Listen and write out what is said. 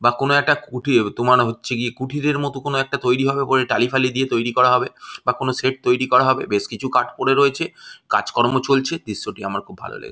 বা কোনো একটা কুঠি হবে তোমার হচ্ছে কিযে কুঠিরের মতো কোনো একটা তৈরী হবে উপরে টালিফালি দিয়ে তৈরী হবে বা কোনো শেড তৈরী করা হবে বেশ কিছু কাঠ পরে রয়েছে কাজকর্ম চলছে আমার দৃশ্যটি আমার খুব ভালো লেগেছে।